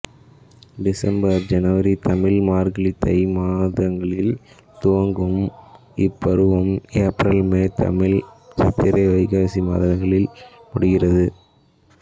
December சனவரி தமிழ் மார்கழி தை மாதங்களில் துவங்கும் இப்பருவம் ஏப்ரல் மே தமிழ் சித்திரை வைகாசி மாதங்களில் முடிவடைகிறது